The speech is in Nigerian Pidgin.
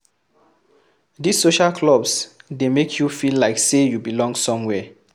These social clubs de make you feel like say you belong somewhere